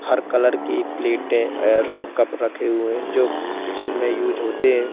हर colour की प्लेटे अर कप रखे हुए जो किचन में उस होते हैं।